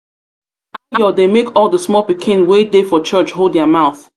dey make all the small pikin wey dey for church hold their mouth